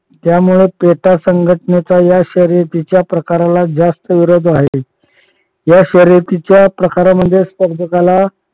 यामुळे पेटा संघटनेचा या शर्यतीच्या प्रकाराला जास्त विरोध आहे. या शर्यतीच्या प्रकारामध्ये स्पर्धकाला